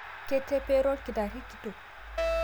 Ketepero lkitari kitok